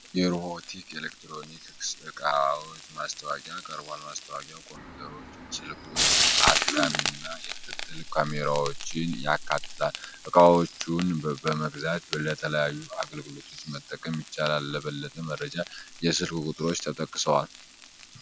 የሪሁቦቲ የኤሌክትሮኒክስ ዕቃዎች ማስታወቂያ ቀርቧል። ማስታወቂያው ኮምፒውተሮች፣ ስልኮች፣ አታሚ እና የክትትል ካሜራዎችን ያካትታል። ዕቃዎቹን በመግዛት ለተለያዩ አገልግሎቶች መጠቀም ይቻላል። ለበለጠ መረጃ የስልክ ቁጥሮች ተጠቅሰዋል።